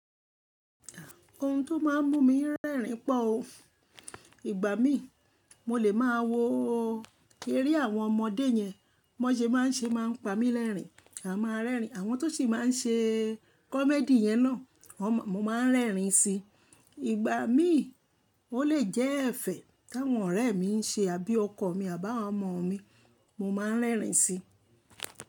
Ohun tó máà ń mú mi rẹ́rìn pọ̀ o. Ìgbà mí mo lè máa wo eré àwọn ọmọdé yẹn, bọ́n sẹ máà ń ṣe máa ń pa mí lẹ́rìn, a máa rẹ́rìn. Àwọn tó sì máa ń ṣe kọ́mẹ́dì yẹn náà mo máa ń rẹ́rìn si. Ìgbà mí ó lè jẹ́ ẹ̀fẹ̀ táwọn ọ̀rẹ́ mi ń ṣe abí ọkọ̀ mi abá ọmọ mi, mo máa ń rẹ́rìn si.